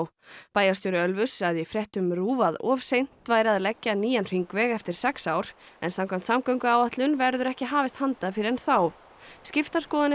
bæjarstjóri Ölfuss sagði í fréttum RÚV að of seint væri að leggja nýjan hringveg eftir sex ár en samkvæmt samgönguáætlun verður ekki hafist handa fyrr en þá skiptar skoðanir